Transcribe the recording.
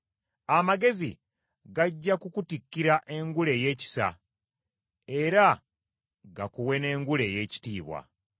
Amagezi gajja kukutikkira engule ey’ekisa, era gakuwe n’engule ey’ekitiibwa.”